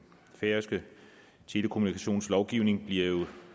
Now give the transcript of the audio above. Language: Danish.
færøske telekommunikationslovgivning bliver jo